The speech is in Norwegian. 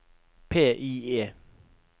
PIE